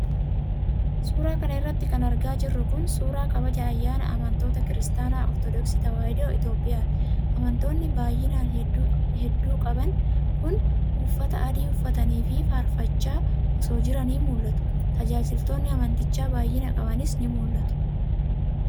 Suura kana irratti kan argaa jirru kun, suura kabaja ayyaanaa amantoota Kiristaana Ortodooksii Tawaahidoo Itoophiyaati. Amantoonni baay'ina hedduu qaban kun, uffata adii uffatanii fi faarfachaa osoo jiranii mul'atu. Tajaajiltoonni amantichaa baay'ina qabanis ni mul'atu.